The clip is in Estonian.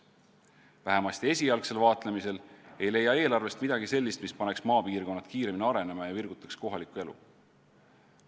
Vähemasti esialgsel vaatlemisel ei leia eelarvest midagi sellist, mis paneks maapiirkonnad kiiremini arenema ja virgutaks kohalikku elu.